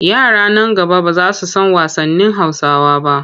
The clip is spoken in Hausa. Yara nan gaba ba za su san wasannin Hausawa ba.